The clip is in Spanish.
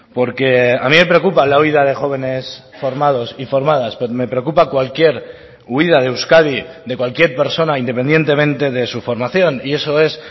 porque a mí me preocupa la huida de jóvenes formados y formadas pero me preocupa cualquier huida de euskadi de cualquier persona independientemente de su formación y eso es